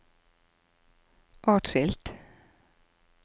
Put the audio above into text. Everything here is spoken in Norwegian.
atskilt